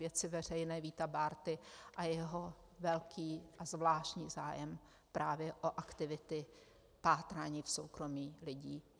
Věci veřejné Víta Bárty a jeho velký a zvláštní zájem právě o aktivity v pátrání soukromí lidí.